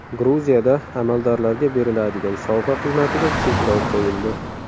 Gruziyada amaldorlarga beriladigan sovg‘a qiymatiga cheklov qo‘yildi.